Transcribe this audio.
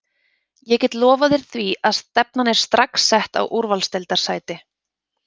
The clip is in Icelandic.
Ég get lofað þér því að stefnan er strax sett á úrvalsdeildarsæti.